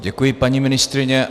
Děkuji, paní ministryně.